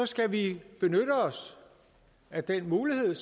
skal vi benytte os af den mulighed